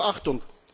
Doch Achtung!